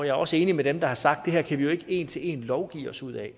er også enig med dem der har sagt at vi ikke en til en kan lovgive os ud af